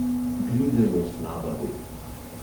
Grize jo slaba vest ...